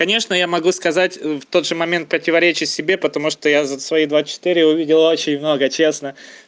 конечно я могу сказать в тот же момент противоречить себе потому что я за свои двадцать четыре увидел очень много честно